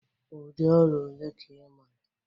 Ụdị ọrịa ole ka ị maara?